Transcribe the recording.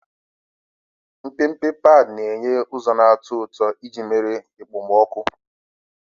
Mpempe padi na-enye ụzọ na-atọ ụtọ iji merie okpomọkụ.